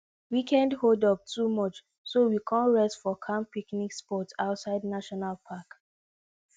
weekend holdup too much so we con rest for calm picnic spot outside national park